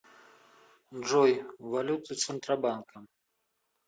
джой валюты центробанка